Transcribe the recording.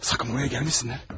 Sakın buraya gəlməsinlər!